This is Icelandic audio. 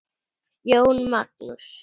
Jón Magnús.